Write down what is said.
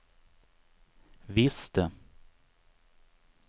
visste